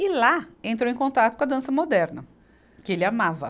E lá entrou em contato com a dança moderna, que ele amava.